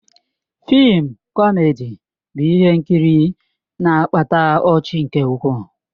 Fịịm kọmedi bụ ihe nkiri na-akpata ọchị nke ukwuu.